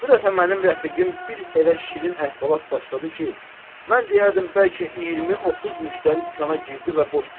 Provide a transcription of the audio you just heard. Bu dəfə mənim rəfiqim bir elə şirin əhvalat başladı ki, mən deyərdim bəlkə 20-30 müştəri dükana girdi və boş çıxdı.